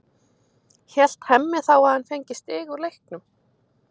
Hélt Hemmi þá að hann fengi stig úr leiknum?